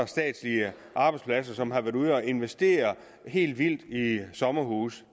statslige arbejdspladser som har været ude at investere helt vildt i sommerhuse